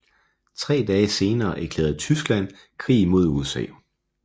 Tre dage senere erklærede Tyskland krig mod USA